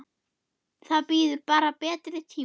Það bíður bara betri tíma.